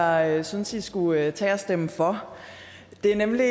jeg synes i skulle tage og stemme for det er nemlig